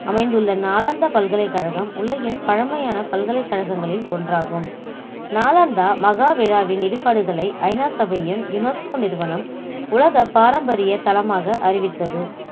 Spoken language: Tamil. அமைந்துள்ள நாளந்தா பல்கலைக்கழகம் உலகின் பழமையான பல்கலைக்கழகங்களில் ஒன்றாகும் நாளந்தா மகா விழாவின் இடிபாடுகளை ஐநா சபையும் UNESCO நிறுவனம் உலக பாரம்பரிய தளமாக அறிவித்தது